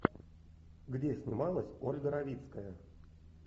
где снималась ольга равицкая